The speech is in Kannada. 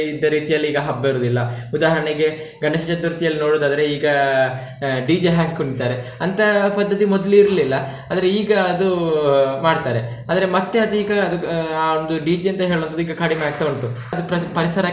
ಇದ್ದ ರೀತಿಯಲ್ಲಿ ಈಗ ಹಬ್ಬ ಇರುದಿಲ್ಲ ಉದಾಹರಣೆಗೆ ಗಣೇಶ ಚತುರ್ಥಿಯಲ್ಲಿ ನೋಡುದಾದ್ರೆ ಈಗ DJ ಹಾಕಿ ಕುಣಿತ್ತಾರೆ ಅಂತ ಪದ್ಧತಿ ಮೊದ್ಲು ಇರ್ಲಿಲ್ಲ ಆದ್ರೆ ಈಗ ಅದು ಮಾಡ್ತಾರೆ, ಆದ್ರೆ ಮತ್ತೆ ಅದು ಈಗ ಆಹ್ ಆ ಒಂದು DJ ಅಂತ ಹೇಳುವಂಥದ್ದು ಈಗ ಕಡಿಮೆ ಆಗ್ತಾ ಉಂಟು, ಅದು ಪ್ರ~ ಪರಿಸರಕ್ಕೆ.